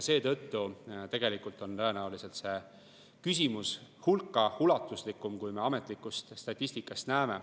Seega tegelikult on tõenäoliselt see küsimus hulka ulatuslikum, kui ametlikust statistikast näeme.